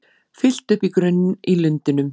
Fyllt upp í grunn í Lindunum